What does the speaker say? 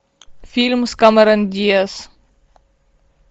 фильм с кэмерон диаз